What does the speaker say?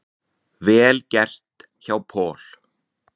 Vel gert hjá Paul.